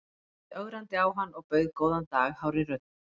Ég horfði ögrandi á hann og bauð góðan dag hárri röddu.